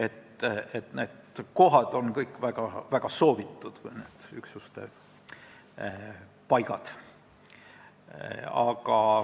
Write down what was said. Kõik need kohad, üksuste paigad on väga soovitud.